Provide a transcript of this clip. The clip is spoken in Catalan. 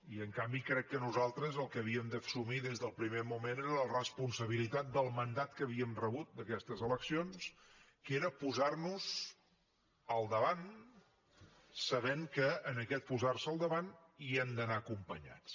i en canvi crec que nosaltres el que havíem d’assumir des del primer moment era la responsabilitat del mandat que havíem rebut d’aquestes eleccions que era posar nos al davant sabent que en aquest posar se al davant hi hem d’anar acompanyats